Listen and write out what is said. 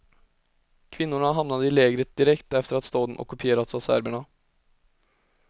Kvinnorna hamnade i lägret direkt efter att staden ockuperats av serberna.